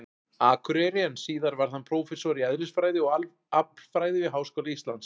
Akureyri, en síðar varð hann prófessor í eðlisfræði og aflfræði við Háskóla Íslands.